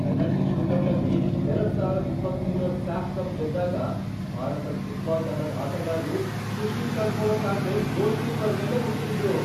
Penalty ಶೂಟೌಟಲ್ಲಿ ಎರಡ್ ಸಾವರದ್ ಇಪ್ಪತಮೂರರ್ ಸ್ಯಾಫ್ ಕಪ್ ಗೆದ್ದಾಗ, ಭಾರತದ್ ಫುಟ್ಬಾಲ್ ತಂಡದ್ ಆಟಗಾರ್ರು ಖುಷಿ ತಡ್ಕೊಳಕ್ಕಾಗ್ದೇ ಗೋಲ್ಕೀಪರ್ ಮೇಲೆ ಮುಗಿಬಿದ್ರು.